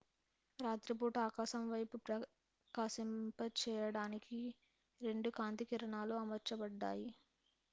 రాత్రిపూట ఆకాశం వైపు ప్రకాశింపచేయడానికి 2 కాంతి కిరణాలు అమర్చబడ్డాయి